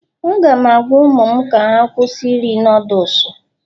Aga m agwa ụmụ m ka ha kwụsị iri Nudusu